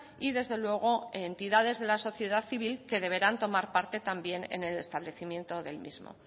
y desde luego entidades de la sociedad civil que deberán tomar parte también en el establecimiento del mismo